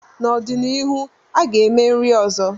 N'ọdịnihu, a ga-eme nri ọzọ.